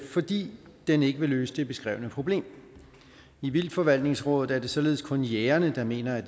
fordi den ikke vil løse det beskrevne problem i vildtforvaltningsrådet er det således kun jægerne der mener at